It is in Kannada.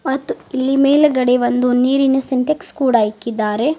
ಹತ್ತು ಇಲ್ಲಿ ಮೇಲ್ಗಡೆ ಒಂದು ನೀರಿನ ಸಿಂಟೆಕ್ಸ್ ಕೂಡ ಇಕ್ಕಿದ್ದಾರೆ.